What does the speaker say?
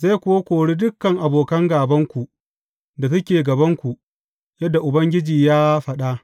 Zai kuwa korin dukan abokan gābanku da suke gabanku, yadda Ubangiji ya faɗa.